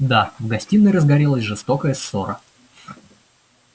да в гостиной разгорелась жестокая ссора